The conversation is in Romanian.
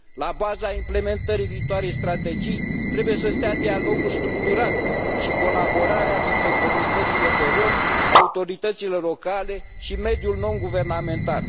La baza implementării viitoarei strategii trebuie să stea dialogul structurat și colaborarea dintre comunitățile de rromi, autoritățile locale și mediul nonguvernamental.